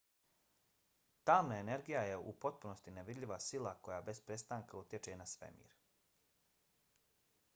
tamna energija je u potpunosti nevidljiva sila koja bez prestanka utječe na svemir